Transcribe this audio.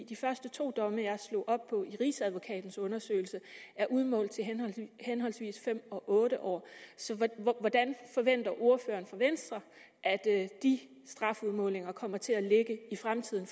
de første to domme jeg slog op i rigsadvokatens undersøgelse er udmålt til henholdsvis fem og otte år så hvordan forventer ordføreren for venstre at de strafudmålinger kommer til at ligge i fremtiden